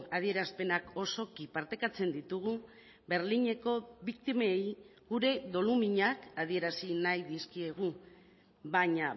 adierazpenak osoki partekatzen ditugu berlineko biktimei gure doluminak adierazi nahi dizkiegu baina